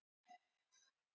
Hvað gerir sjóherinn?